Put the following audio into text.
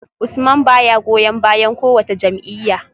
Usman baya goyon bayan kowace jam’iyya